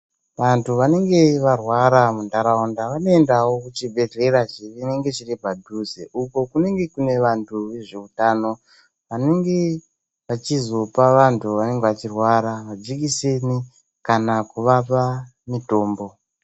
Vanthu vanenge varwara muntharaunda vanoendawo kuchibhedhlera chinenge chiri padhuze, uko kunenge kune vanthu vezveutano vanenge vachizopa vanthu vanenge vachirwara majekiseni kana kuvapa mitombo.